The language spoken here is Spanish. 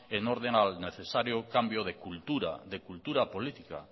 en orden al necesario cambio de cultura de cultura política